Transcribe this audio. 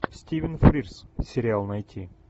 стивен фрирз сериал найти